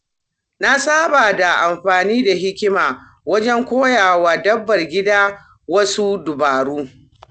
Na saba da amfani da hikima wajen koya wa dabbar gida wasu dabaru.